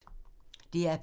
DR P3